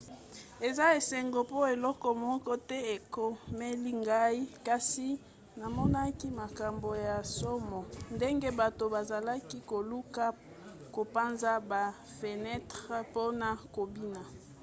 eza esengo mpo eloko moko te ekomeli ngai kasi namonaki makambo ya nsomo ndenge bato bazalaki koluka kopanza bafenetre mpona kobima